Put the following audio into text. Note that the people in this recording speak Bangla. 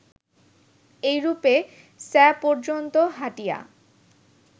এইরূপে স্যা পর্যন্ত হাঁটিয়া